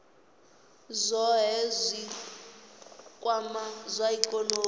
zwohe zwi kwamaho zwa ikonomi